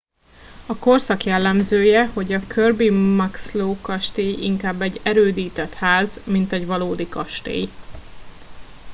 a korszak jellemzője hogy a kirby muxloe kastély inkább egy erődített ház mint egy valódi kastély